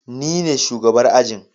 Nine shugabar ajin.